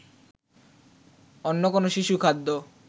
অন্য কোন শিশুখাদ্য